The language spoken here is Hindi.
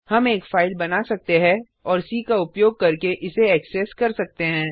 हम एक फाइल बना सकते है और सी का उपयोग करके इसे एक्सेस कर सकते हैं